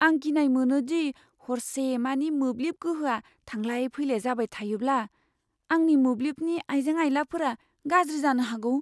आं गिनाय मोनो दि हरसेमानि मोब्लिब गोहोआ थांलाय फैलाय जाबाय थायोब्ला, आंनि मोब्लिबनि आइजें आइलाफोरा गाज्रि जानो हागौ।